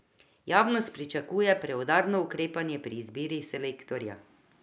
Javnost pričakuje preudarno ukrepanje pri izbiri selektorja.